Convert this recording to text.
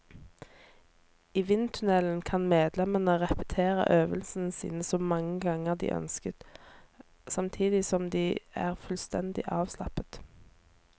I vindtunnelen kan medlemmene repetere øvelsene sine så mange ganger de ønsker, samtidig som de er fullstendig avslappet.